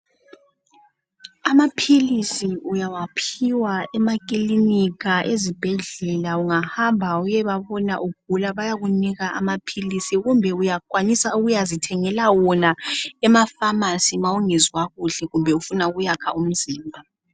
Amaphilisi uyawaphiwa ezibhedlela kumbe ekilinika ungahamba uyebabona ugula bayakunika wona. Uyakwanisa njalo ukuyazithengela wona ezindaweni lapho abathengisa khona.